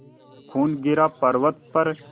जो खून गिरा पवर्अत पर